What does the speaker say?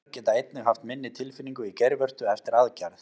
Konur geta einnig haft minni tilfinningu í geirvörtu eftir aðgerð.